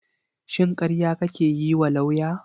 Shin karya kake yiwa lauya?